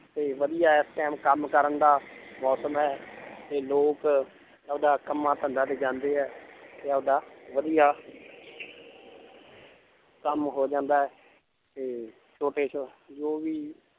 ਤੇ ਵਧੀਆ ਇਸ time ਕੰਮ ਕਰਨ ਦਾ ਮੌਸਮ ਹੈ ਤੇ ਲੋਕ ਆਪਦਾ ਕੰਮਾਂ ਧੰਦਾ ਤੇ ਜਾਂਦੇ ਹੈ ਤੇ ਆਪਦਾ ਵਧੀਆ ਕੰਮ ਹੋ ਜਾਂਦਾ ਹੈ ਤੇ ਛੋਟੇ ਸ~ ਜੋ ਵੀ